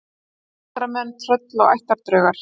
Galdramenn, tröll og ættardraugar